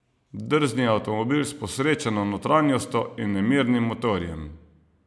Drzni avtomobil s posrečeno notranjostjo in nemirnim motorjem.